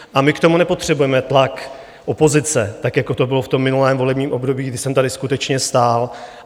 A my k tomu nepotřebujeme tlak opozice, tak jako to bylo v tom minulém volebním období, kdy jsem tady skutečně stál.